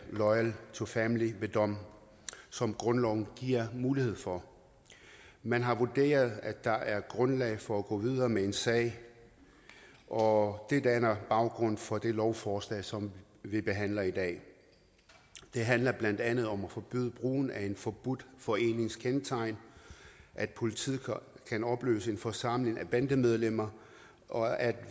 loyal to familia ved dom som grundloven giver mulighed for man har vurderet at der er grundlag for at gå videre med en sag og det danner baggrund for det lovforslag som vi behandler i dag det handler blandt andet om at forbyde brugen af en forbudt forenings kendetegn at politiet kan opløse en forsamling af bandemedlemmer og at